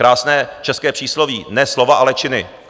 Krásné české přísloví - ne slova, ale činy!